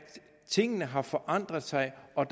tingene har forandret sig og